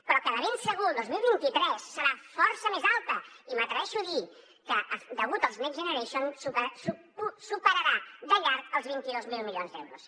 però de ben segur el dos mil vint tres serà força més alta i m’atreveixo a dir que degut als next generation superarà de llarg els vint dos mil milions d’euros